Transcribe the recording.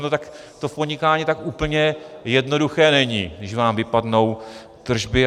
No tak to v podnikání tak úplně jednoduché není, když vám vypadnou tržby.